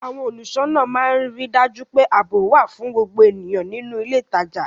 Àwọn olùṣọ́nà máa ń rí dájú pé ààbò wà fún gbogbo ènìyàn nínú ilé ìtajà